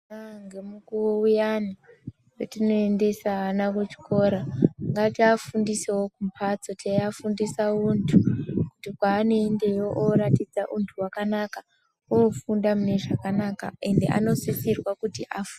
Kudai ngemukuwo uyani wetinoendesa ana kuchikora ngatiafundesewo kumbhatso teiafundisa untu kuti kwaanoendayo andoratidza untu wakanaka ofunda munezvakanaka ende anosisirwa kuti afunde.